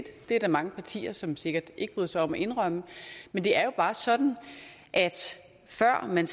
det er der mange partier som sikkert ikke bryder sig om at indrømme men det er jo bare sådan at før man